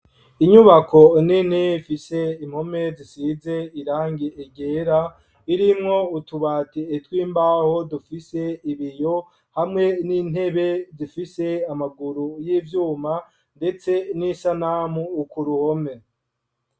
Inyubako nini ifise impome zisize irangi ryera irinko utubatire tw'imbaho dufise ibiyo hamwe n'intebe zifise amaguru y'ibyuma ndetse n'isanamu ukuruhome.